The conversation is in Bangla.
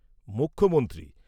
মুখ্যমন্ত্রী